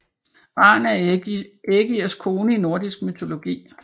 Ran er Ægirs kone i nordisk mytologi